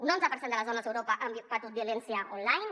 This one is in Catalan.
un onze per cent de les dones a europa han patit violència online